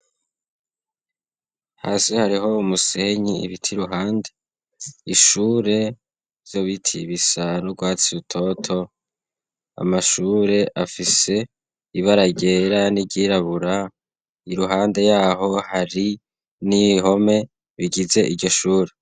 Hasi hariho wu musenyi ibiti i ruhande ishure vyo bitiy ibisara urwatsi rutoto amashure afise ibara ryera niryirabura i ruhande yaho hari n'ihome bigize iryo shure.